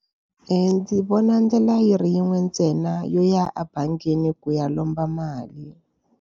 Ndzi vona ndlela yi ri yin'we ntsena yo ya ebangini ku ya lomba mali.